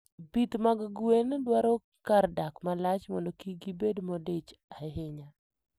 Pith mag gwen dwaro kar dak malach mondo kik gibed modich ahinya.